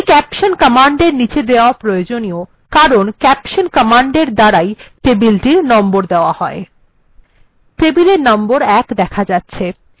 এটিকে caption command এর নীচে দেওয়া প্রয়োজনীয় কারণ caption কমান্ড এর দ্বারা ই টেবিলটির নম্বর দেওয়া হয় টেবিলটির নম্বর ১ দেখা যাচ্ছে